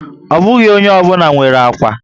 Ọ bụghị ónyé obula nwèrè ákwà